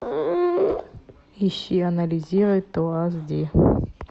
ищи анализируй то аш ди